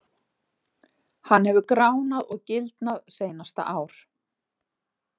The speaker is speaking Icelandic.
Hann hefur gránað og gildnað seinasta ár.